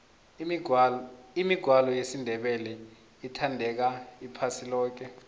imigwalo yesindebele ithandeka iphasi loke